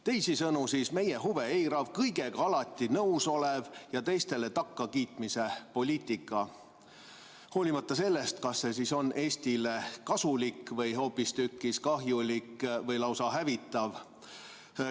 Teisisõnu, meie huve eirav, kõigega alati nõus olev ja teistele takkakiitmise poliitika, hoolimata sellest, kas see on Eestile kasulik või hoopistükkis kahjulik või lausa hävitav.